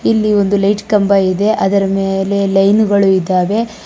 ಇಲ್ಲಿ ಒಂದು ಲೈಟ್ ಕಂಬ ಇದೆ ಅದರ ಮೇಲೆ ಲೈನು ಗಳು ಇದ್ದಾವೆ.